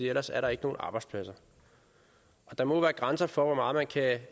ellers er der ikke nogen arbejdspladser der må være grænser for hvor meget man kan